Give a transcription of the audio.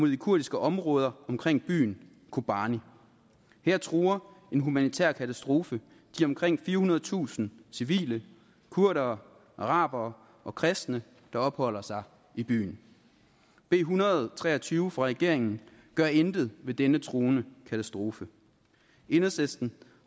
de kurdiske områder omkring byen kubani her truer en humanitær katastrofe de omkring firehundredetusind civile kurdere arabere og kristne der opholder sig i byen b en hundrede og tre og tyve fra regeringen gør intet ved denne truende katastrofe enhedslisten